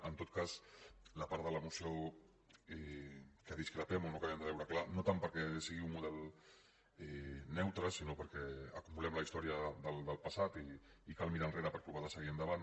en tot cas la part de la moció amb què discrepem o no acabem de veure clara no tant perquè sigui un model neutre sinó perquè acumulem la història del passat i cal mirar enrere per provar de seguir endavant